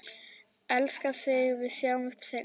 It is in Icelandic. Elska þig, við sjáumst seinna.